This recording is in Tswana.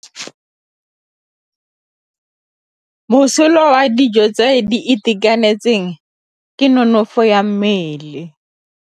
Mosola wa dijô tse di itekanetseng ke nonôfô ya mmele.